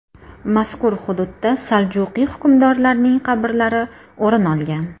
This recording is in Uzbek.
Mazkur hududda saljuqiy hukmdorlarning qabrlari o‘rin olgan.